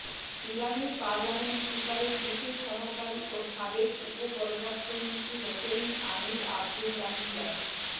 ইরানের পার্লামেন্ট স্পিকারের বিশেষ সহকারী ও সাবেক উপ পররাষ্ট্রমন্ত্রী হোসেইন আমির আব্দুল্লাহিয়ান